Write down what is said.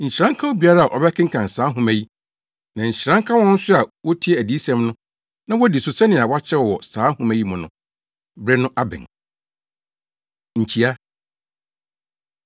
Nhyira nka obiara a ɔbɛkenkan saa nhoma yi, na nhyira nka wɔn nso a wotie adiyisɛm no na wodi so sɛnea wɔakyerɛw wɔ saa nhoma yi mu no. Bere no abɛn. Nkyia